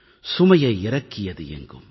சுமையை இறக்கியது எங்கும்